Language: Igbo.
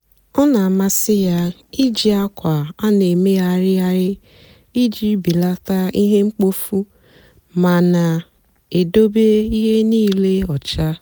ọ na-àmasị́ ya ìjì àkwà a na-èmèghàrị̀ghàrị̀ ìjì bèlátà ihe mkpófu mà na-èdòbé ihe nílé ọ́cha.